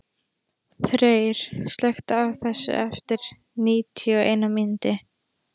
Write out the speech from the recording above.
Þeyr, slökktu á þessu eftir níutíu og eina mínútur.